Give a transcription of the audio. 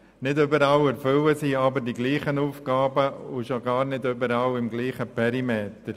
Sie erfüllen aber nicht überall dieselben Aufgaben, und schon gar nicht überall im selben Perimeter.